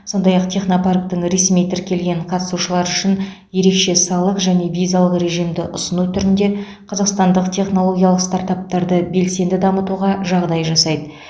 сондай ақ технопарктің ресми тіркелген қатысушылары үшін ерекше салық және визалық режимді ұсыну түрінде қазақстандық технологиялық стартаптарды белсенді дамытуға жағдай жасайды